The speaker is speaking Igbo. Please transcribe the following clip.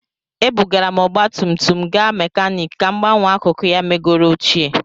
Ebugara m ọgba tum tum m gaa mekaniki ka m gbanwee akụkụ ya megoro ochie